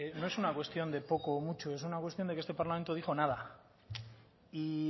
no es una cuestión de poco o mucho es una cuestión de que este parlamento dijo nada y